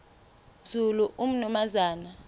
nzulu umnumzana u